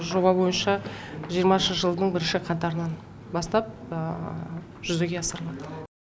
жоба бойынша жиырмасыншы жылдың бірінші қаңтарынан бастап жүзеге асырылады